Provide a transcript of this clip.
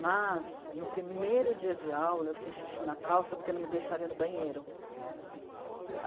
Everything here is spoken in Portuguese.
Mas, no primeiro dia de aula, eu fiz xixi na calça porque não me deixaram ir no banheiro.